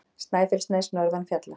Snæfellsnes norðan fjalla.